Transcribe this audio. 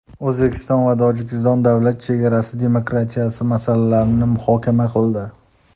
O‘zbekiston va Tojikiston davlat chegarasi demarkatsiyasi masalalarini muhokama qildi.